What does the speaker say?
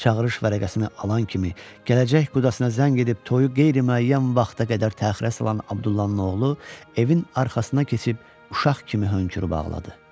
Çağırış vərəqəsini alan kimi gələcək qudasına zəng edib toyu qeyri-müəyyən vaxta qədər təxirə salan Abdullahın oğlu evin arxasına keçib uşaq kimi hönkürüb ağladı.